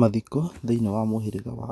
Mathiko thĩiniĩ wa mũhĩrĩga wa